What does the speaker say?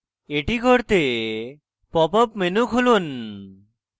এটি করতে pop up menu খুলুন